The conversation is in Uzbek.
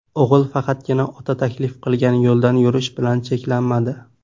O‘g‘il faqatgina ota taklif qilgan yo‘ldan yurish bilan cheklanmadi.